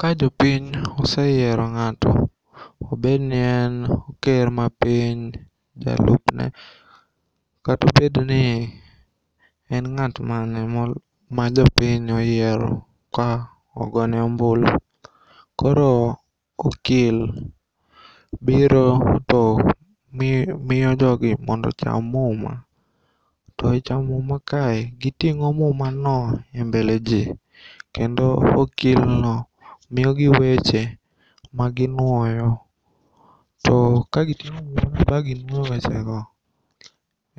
Ka jopiny oseyiero ng'ato, obednien ker mar piny, jalupne katobedni en ng'at mane ma jopiny oyiero ka ogone ombulu koro okil biro to miyo jogi mondo cham muma. To echamo muma kae, giting'o mumano e mbele jii kendo okilno miyogi weche maginuoyo. To kagiting'o mumano ba ginuoyo wechego